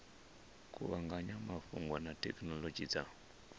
kuvhanganya mafhungo na thekhinolodzhi dza